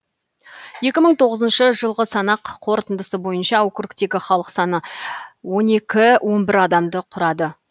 екі мың тоғызыншы жылғы санақ қорытындысы бойынша округтегі халық саны он екі он бір адамды құрады